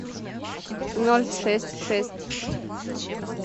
ноль шесть шесть